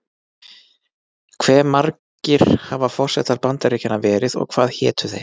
Hve margir hafa forsetar Bandaríkjanna verið og hvað hétu þeir?